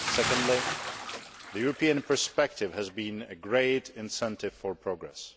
Secondly, the European perspective has been a great incentive for progress.